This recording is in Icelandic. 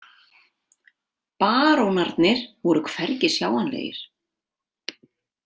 Barónarnir voru hvergi sjáanlegir.